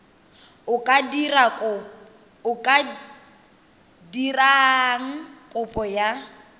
o ka dirang kopo ya